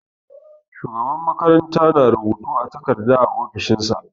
Shugaban makaranta na rubutu a takarda a ofishin shi.